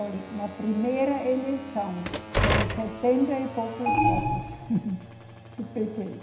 Olhe, na primeira eleição foram setenta e poucos votos do Pêtê